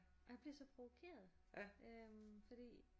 Og jeg bliver så provokeret fordi